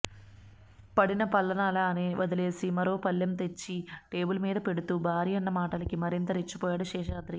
పడిన పళ్లాన్నలానే వదిలేసి మరో పళ్లెం తెచ్చి టేబుల్ మీద పెడుతూ భార్యన్న మాటలకి మరింత రెచ్చిపోయాడు శేషాద్రి